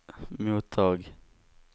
mottag